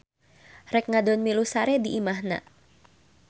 Rek ngadon milu sare di imahna.